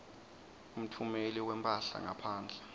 umtfumeli wemphahla ngaphandle